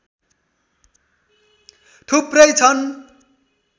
थुप्रै छन्